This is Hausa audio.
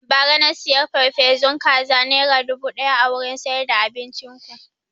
Ba ra na siya farfesun kaza nera dubu ɗaya a wurin siyar da abincin ku